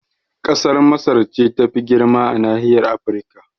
Kasar Masar ce tafi girma a nahiyar Afrika